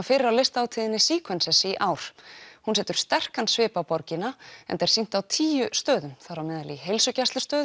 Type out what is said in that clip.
fyrir á listahátíðinni í ár hún setur sterkan svip á borgina enda er sýnt á tíu stöðum þar á meðal í heilsugæslustöð